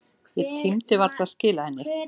Ég tímdi varla að skila henni.